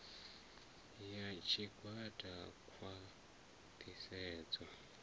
i ya tshigwada khwa ṱhisedzo